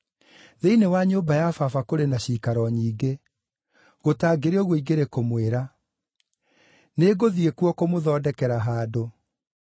Thĩinĩ wa nyũmba ya Baba kũrĩ na ciikaro nyingĩ; gũtangĩrĩ ũguo ingĩrĩ kũmwĩra. Nĩngũthiĩ kuo kũmũthondekera handũ.